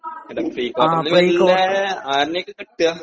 prequarter ഇൽ വലിയാ ആരെയാ ഇപ്പോ കിട്ടാ